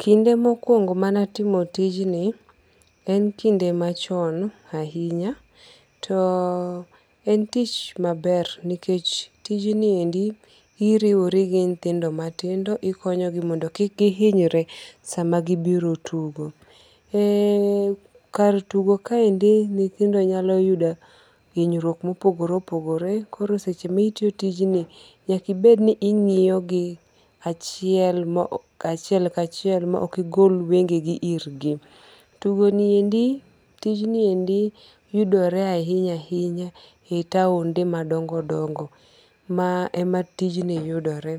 Kinde mokuongo'mane antimo tijni en kinde machon ahinya, to en tich maber nikech tijni endi iriwori gi nyithindo mitindo ikonyogi mondo kik gihinyre sama gibiro tugo. Kar tugo kaendi nyithindo nyalo yudo hinyruok ma opogore opogore , koro seche ma itiyo tijni nyaka ibed ni ingi'yogi achiel ma achiel kachiel ma ok igol wenge'gi irgi. Tugoniendi tijniendi yudore ahinya ahinya e taonde madongo' gongo' ma ema tijni yudore